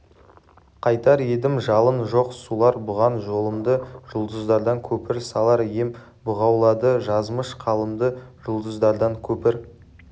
қайтар едім жалын жоқ сулар буған жолымды жұлдыздардан көпір салар ем бұғаулады жазмыш қалымды жұлдыздардан көпір